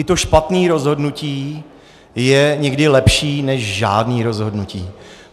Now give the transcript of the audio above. I to špatné rozhodnutí je někdy lepší než žádné rozhodnutí.